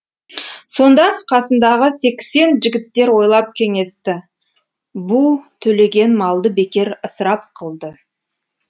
сонда қасындағы сексен жігіттер ойлап кеңесті бұ төлеген малды бекер ысырап қылды